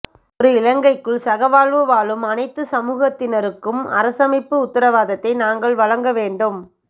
ஒரு இலங்கைக்குள் சகவாழ்வு வாழும் அனைத்து சமூகத்தினருக்கும் அரசமைப்பு உத்தரவாதத்தை நாங்கள் வழங்கவேண்டும்